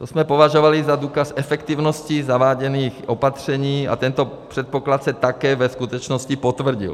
To jsme považovali za důkaz efektivnosti zaváděných opatření a tento předpoklad se také ve skutečnosti potvrdil.